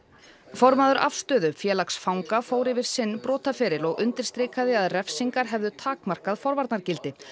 formaður afstöðu félags fanga fór yfir sinn brotaferil og undirstrikaði að refsingar hefðu takmarkað forvarnargildi